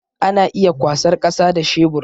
Ana iya kwasar kasa da shebur